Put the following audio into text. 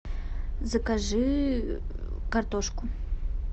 закажи картошку